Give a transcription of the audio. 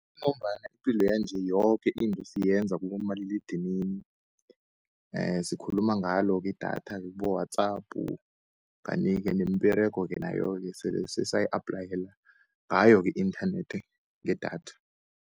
Ngombana ipilo yanje yoke into siyenza kibomaliledinini, sikhuluma ngalo-ke idatha-ke kibo-WhatsApp. Kanti-ke nemiberego-ke nayo-ke sele sesayi aphlayela ngayo-ke i-inthanethi ngedatha.